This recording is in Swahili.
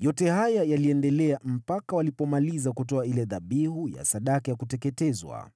Yote haya yaliendelea mpaka walipomaliza kutoa ile dhabihu ya sadaka ya kuteketezwa.